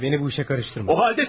Söylədim ya, məni bu işə qarışdırma.